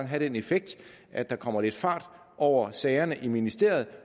have den effekt at der kommer lidt fart over sagerne i ministeriet